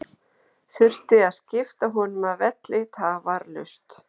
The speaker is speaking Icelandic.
Þurfti að skipta honum af velli tafarlaust.